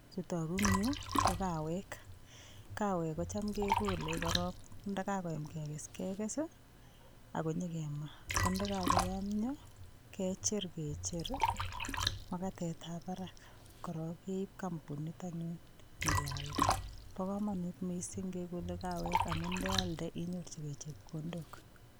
Chutoku eng' yu ko kawek kawek kocham kekolei korok ndikakoim kekes kekes akonyikamaa ko ndikakoyomyo kechir kecher makatetab barak korok keibu kampunit anyun nyikealda bi komonut mising' kekolei kawek amun ndealde inyorchigei chepkondok